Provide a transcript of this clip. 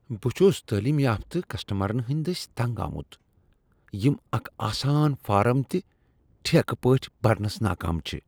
بہٕ چُھس تعلیم یافت کسٹمرَن ہندِ دسۍ تنگ آمت یم اکھ آسان فارم تہِ ٹھیکھ پٲٹھۍ پُرنس منز نٲکام چھ ۔